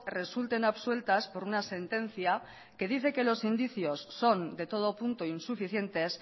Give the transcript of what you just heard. resulten absueltas por una sentencia que dice que los indicios son de todo punto insuficientes